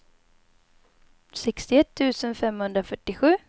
sextioett tusen femhundrafyrtiosju